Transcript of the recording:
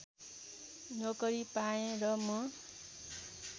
नोकरी पाएँ र म